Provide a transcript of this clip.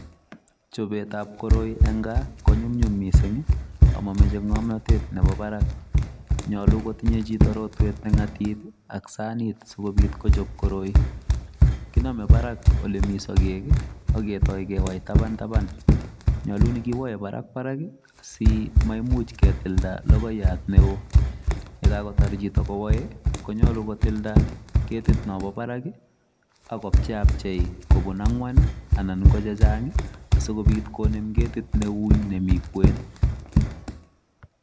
Chobetab koroi eng kaa konyumnyum mising amamachei ng'omnotet nebo barak. Nyolu kotinyei chito rotwet neng'atib ak sanit sikobit kochob koroi. Kinomei barak ole mi sogek aketoi kewai taban taban. Nyolu nikiwoe barak barak asimaimuch ketilda logoiyat neo. Yekakotar chito kowoei konyolu kotilda ketit nobo barak akopcheapchei kobun ang'wan anan ko chechang asikobit konem ketit neui nemi kwen.